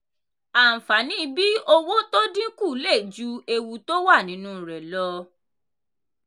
àǹfààní bí owó tó dín kù lè ju ewu tó wà nínú rẹ̀ lọ.